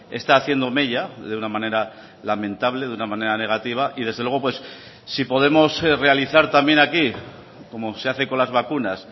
está haciendo mella de una manera lamentable de una manera negativa y desde luego si podemos realizar también aquí como se hace con las vacunas